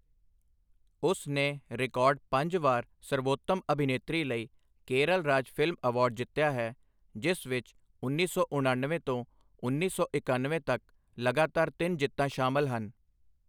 ਉਸ ਨੇ ਰਿਕਾਰਡ ਪੰਜ ਵਾਰ ਸਰਬੋਤਮ ਅਭਿਨੇਤਰੀ ਲਈ ਕੇਰਲ ਰਾਜ ਫਿਲਮ ਅਵਾਰਡ ਜਿੱਤਿਆ ਹੈ, ਜਿਸ ਵਿੱਚ ਉੱਨੀ ਸੌ ਉਣਨਵੇਂ ਤੋਂ ਉੱਨੀ ਸੌ ਇਕਣਵੇਂ ਤੱਕ ਲਗਾਤਾਰ ਤਿੰਨ ਜਿੱਤਾਂ ਸ਼ਾਮਲ ਹਨ।